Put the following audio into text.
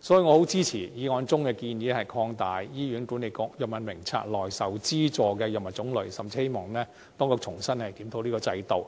所以，我很支持議案中的建議，擴大醫管局《藥物名冊》內受資助藥物的種類，甚至希望當局重新檢討這個制度，